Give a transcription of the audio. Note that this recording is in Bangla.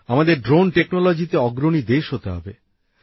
আমাদের ড্রোন প্রযুক্তিতে অগ্রণী দেশ হতে হবে